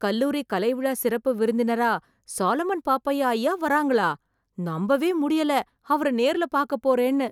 கல்லூரி கலை விழா சிறப்பு விருந்தினரா சாலமன் பாப்பையா ஐயா வராங்களா, நம்பவே முடியல அவரை நேர்ல பாக்கப் போறேன்னு.